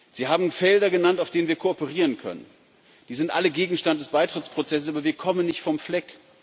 Sie haben Bereiche genannt, in denen wir kooperieren können. Die sind alle Gegenstand des Beitrittsprozesses, aber wir kommen nicht vom Fleck.